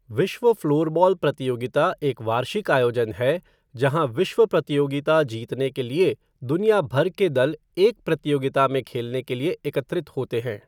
विश्व फ़्लोरबॉल प्रतियोगिता एक वार्षिक आयोजन है जहाँ विश्व प्रतियोगिता जीतने के लिए दुनिया भर के दल एक प्रतियोगिता में खेलने के लिए एकत्रित होते हैं।